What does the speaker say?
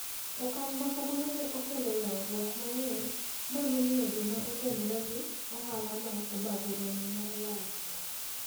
Okang ' ma kamano ne okelo ywaruok mang'eny ma nomiyo joma otenore gi ohalano obago romo mar lalruok.